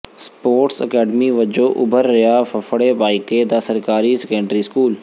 sports academy ਵਜੋਂ ਉੱਭਰ ਰਿਹਾ ਫਫੜੇ ਭਾਈਕੇ ਦਾ ਸਰਕਾਰੀ ਸੈਕੰਡਰੀ ਸਕੂਲ